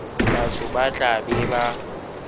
batho ba tla be ba